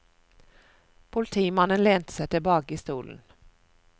Politimannen lente seg tilbake i stolen.